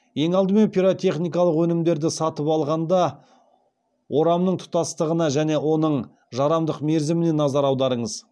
ең алдымен пиротехникалық өнімдерді сатып алғанда орамның тұтастығына және оның жарамдылық мерзіміне назар аударыңыз